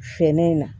Feere in na